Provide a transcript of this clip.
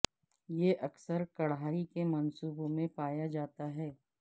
یہ اکثر کڑھائی کے منصوبوں میں پایا جاتا ہے